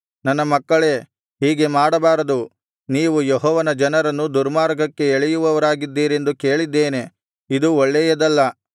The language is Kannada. ನನ್ನ ಮಕ್ಕಳೇ ಹೀಗೆ ಮಾಡಬಾರದು ನೀವು ಯೆಹೋವನ ಜನರನ್ನು ದುರ್ಮಾರ್ಗಕ್ಕೆ ಎಳೆಯುವವರಾಗಿದ್ದೀರೆಂದು ಕೇಳಿದ್ದೇನೆ ಇದು ಒಳ್ಳೆಯದಲ್ಲ